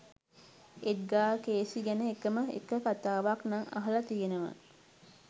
එඩ්ගා Cayce ගැන එකම එක කතාවක් නං අහල තියෙනව